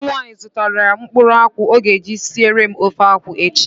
Enyi m nwaanyị zụtara mkpụrụ akwụ ọ ga-eji siere m ofe akwụ echi